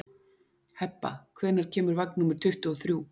Hebba, hvenær kemur vagn númer tuttugu og þrjú?